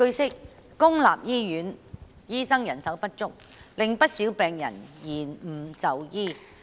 據悉，公立醫院醫生人手不足，令不少病人延誤就醫。